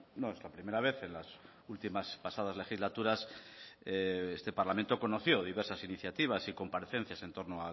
no es la primera vez en las últimas pasadas legislaturas este parlamento conoció diversas iniciativas y comparecencias en torno